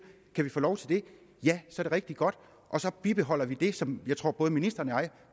kan vi få lov til det er det rigtig godt og så bibeholder vi det som jeg tror at både ministeren og jeg